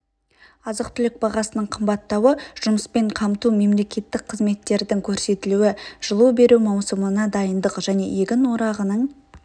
азық-түлік бағасының қымбаттауы жұмыспен қамту мемлекеттік қызметтердің көрсетілуі жылу беру маусымына дайындық және егін орағының